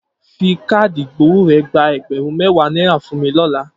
Fi káàdì ìgbowó rẹ̀ gba ẹgbẹ̀rún mẹ́wàá náírà fún mi lọ́la.